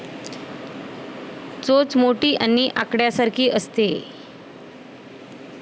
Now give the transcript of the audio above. चोच मोठी आणि आकड्यासारखी असते.